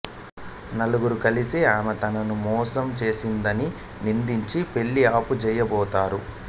నలుగురూ కలిసి ఆమె తనను మోసం చేసిందని నిందించి పెళ్ళి ఆపు చేయబోతారు